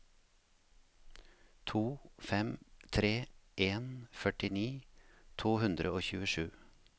to fem tre en førtini to hundre og tjuesju